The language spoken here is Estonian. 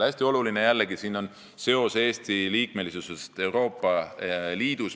Hästi oluline jällegi on see, et siin on seos Eesti liikmesusega Euroopa Liidus.